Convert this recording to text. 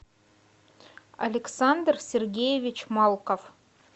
александр сергеевич малков